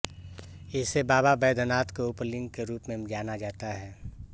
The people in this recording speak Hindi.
इसे बाबा वैद्यनाथ के उपलिंग के रूप में जाना जाता है